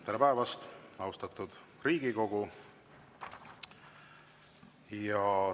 Tere päevast, austatud Riigikogu!